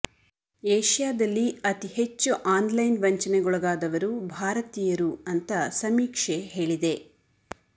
ಏಷ್ಯಾದಲ್ಲಿ ಅತಿ ಹೆಚ್ಚು ಆನ್ ಲೈನ್ ವಂಚನೆಗೊಳಗಾದವರು ಭಾರತೀಯರು ಅಂತಾ ಸಮೀಕ್ಷೆ ಹೇಳಿದೆ